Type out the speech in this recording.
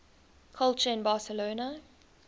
culture in barcelona